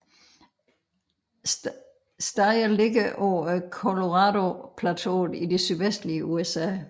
Steder ligger på Coloradoplateauet i det sydvestlige USA